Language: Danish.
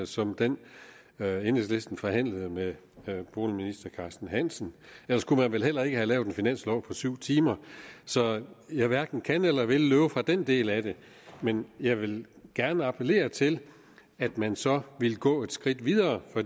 som den enhedslisten forhandlede med boligminister carsten hansen ellers kunne man vel heller ikke have lavet en finanslov på syv timer så jeg hverken kan eller vil løbe fra den del af det men jeg vil gerne appellere til at man så går et skridt videre for